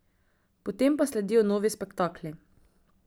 Potem pa sledijo novi spektakli.